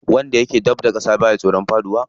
Wanda yake dab da ƙasa baya tsoron faɗuwa.